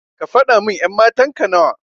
Kafada min ƴan matanka nawa.